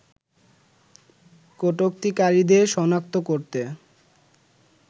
কটুক্তিকারীদের সনাক্ত করতে